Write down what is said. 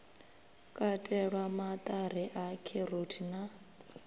katelwa maṱari a kheroti na